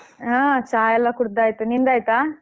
ಹಾ ಚಾ ಎಲ್ಲಾ ಕುಡ್‌ದಾಯ್ತು ನಿಂದಾಯ್ತಾ?